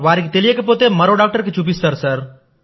వారికి తెలియకపోతే మరో డాక్టర్ కి చూపిస్తారు